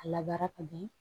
A labaara ka di